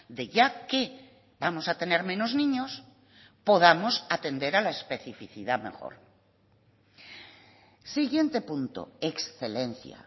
de ya que vamos a tener menos niños podamos atender a la especificidad mejor siguiente punto excelencia